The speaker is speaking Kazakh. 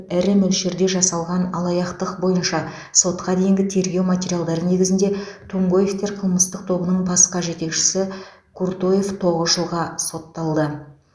ірі мөлшерде жасалған алаяқтық бойынша сотқа дейінгі тергеу материалдары негізінде тумгоевтер қылмыстық тобының басқа жетекшісі куртоев тоғыз жылға сотталды